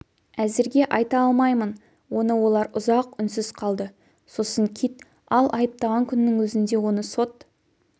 әзірге айта алмаймын оны олар ұзақ үнсіз қалды сосын кит ал айыптаған күннің өзінде оны сот